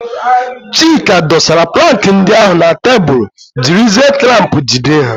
Chidi dosara plankị ndị ahụ na tebụl jiri zie klamp jide ha.